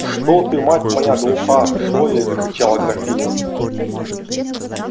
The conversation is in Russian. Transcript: что ты мать моя глуха что ли закричала графиня